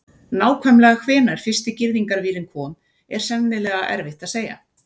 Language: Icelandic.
Nákvæmlega hvenær fyrsti girðingarvírinn kom er sennilega erfitt að segja.